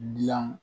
Dilan